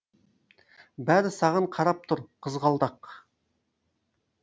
бәрі саған қарап тұр қызғалдақ